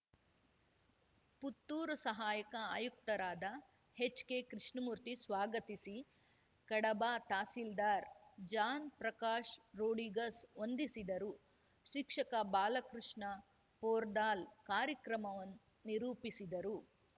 ಪುತ್ತೂರು ಸಹಾಯಕ ಆಯುಕ್ತರಾದ ಹೆಚ್ಕೆ ಕೃಷ್ಣಮೂರ್ತಿ ಸ್ವಾಗತಿಸಿ ಕಡಬ ತಹಸಿಲ್ದಾರ್ ಜಾನ್ ಪ್ರಕಾಶ್ ರೋಡಿಗಸ್ ವಂದಿಸಿದರು ಶಿಕ್ಷಕ ಬಾಲಕೃಷ್ಣ ಪೊರ್ದಾಲ್ ಕಾರ್ಯಕ್ರಮವನ್ ನಿರೂಪಿಸಿದರು